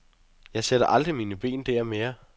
Jeg sætter aldrig mine ben der mere.